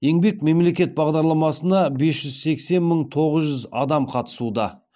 еңбек мемлекет бағдарламасына бес жүз сексен мың тоғыз жүз адам қатысуда